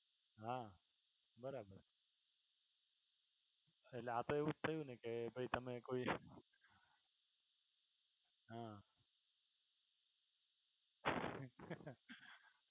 હા બરાબર છે. એટલે આપણે એવું થયું ને કે ભાઈ તમે કોઈ, હા,